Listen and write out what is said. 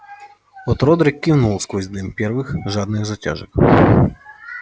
от родрик кивнул сквозь дым первых жадных затяжек